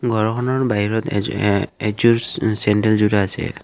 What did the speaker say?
ঘৰখনৰ বাহিৰত এযো এ এযোৰ চেণ্ডেল জোৰা আছে এইয়া।